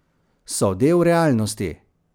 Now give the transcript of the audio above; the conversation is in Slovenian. So del realnosti.